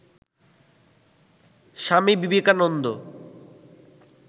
Swami Vivekananda